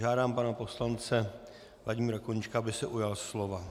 Žádám pana poslance Vladimíra Koníčka, aby se ujal slova.